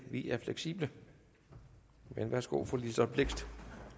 vi er fleksible men værsgo til fru liselott blixt